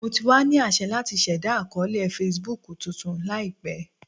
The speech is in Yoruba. Mo ti wa ni aṣẹ lati ṣẹda akọọlẹ Facebook tuntun laipe.